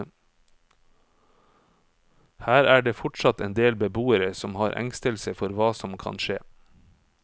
Her er det fortsatt en del beboere som har engstelse for hva som kan skje.